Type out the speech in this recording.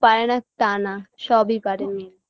পারেনা তা না সবই পারে মেয়ে